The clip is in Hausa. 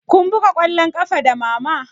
Kun buga ƙwallon ƙafa da mama?